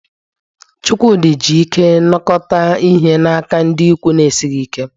Chukwudi ji ike nakọta ihe n'aka ndị ikwu na-esighị ike